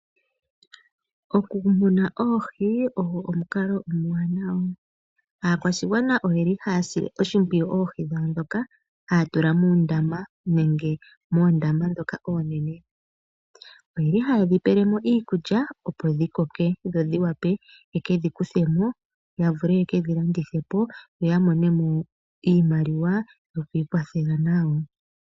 Okumuna oohi ogo omukalo omuwanawa. Aakwashigwana ohaya sile oohi dhawo oshimpwiyu ndhoka haya tula muundama nenge moondama ndhoka oonene. Ohaye dhi pele mo iikulya, opo dhi koke dho dhi wape ye ke dhi kuthe mo ya vule ye ke dhi landithe po ya mone mo iimaliwa yokwikwathela nayo.